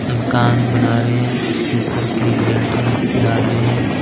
मकान बना रहे है जिसके ऊपर की लेंटर डाल रहे है ।